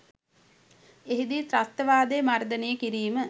එහිදී ත්‍රස්තවාදය මර්දනය කිරීම